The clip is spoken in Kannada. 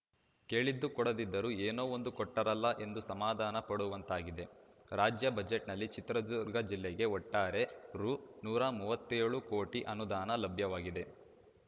ಕೇಳಿದ್ದು ಕೊಡದಿದ್ದರೂ ಏನೋ ಒಂದು ಕೊಟ್ಟರಲ್ಲ ಎಂದು ಸಮಾಧಾನ ಪಡುವಂತಾಗಿದೆ ರಾಜ್ಯ ಬಜೆಟ್‌ನಲ್ಲಿ ಚಿತ್ರದುರ್ಗ ಜಿಲ್ಲೆಗೆ ಒಟ್ಟಾರೆ ರು ನೂರ ಮೂವತ್ತೆಳು ಕೋಟಿ ಅನುದಾನ ಲಭ್ಯವಾಗಿದೆ